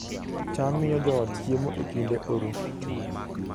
cham miyo joot chiemo e kinde oro